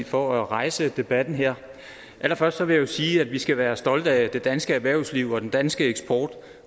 for at rejse debatten her allerførst vil jeg sige at vi skal være stolte af det danske erhvervsliv og den danske eksport